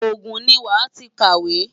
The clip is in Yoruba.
Ogun ni wàá ti kàwé!